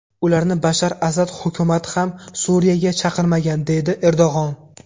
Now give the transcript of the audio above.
Ularni Bashar Asad hukumati ham Suriyaga chaqirmagan”, deydi Erdo‘g‘on.